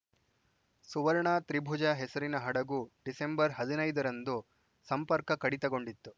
ಸುವರ್ಣ ತ್ರಿಭುಜ ಹೆಸರಿನ ಹಡಗು ಡಿಸೆಂಬರ್ ಹದ್ ನೈದ ರಂದು ಸಂಪರ್ಕ ಕಡಿತಕೊಂಡಿತ್ತು